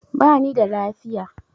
Ba ni da lafiya.